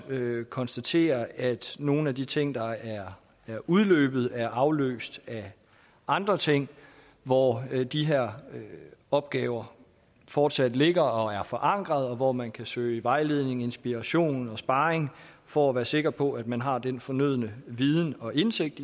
konstatere at nogle af de ting der er udløbet er afløst af andre ting hvor de her opgaver fortsat ligger og er forankret og hvor man kan søge vejledning inspiration og sparring for at være sikker på at man har den fornødne viden og indsigt